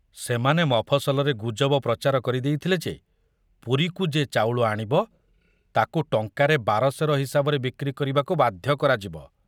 ସେମାନେ ମଫସଲରେ ଗୁଜବ ପ୍ରଚାର କରି ଦେଇଥିଲେ ଯେ ପୁରୀକୁ ଯେ ଚାଉଳ ଆଣିବ, ତାକୁ ଟଙ୍କାରେ ବାର ସେର ହିସାବରେ ବିକ୍ରି କରିବାକୁ ବାଧ୍ୟ କରାଯିବ।